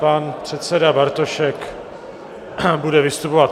Pan předseda Bartošek bude vystupovat.